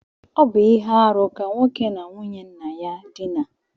Ọ bu ihe-árú ka nwoke na nwunye nna ya dina.